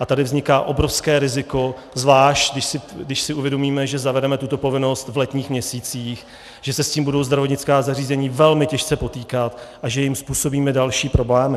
A tady vzniká obrovské riziko, zvlášť když si uvědomíme, že zavedeme tuto povinnost v letních měsících, že se s tím budou zdravotnická zařízení velmi těžce potýkat a že jim způsobíme další problémy.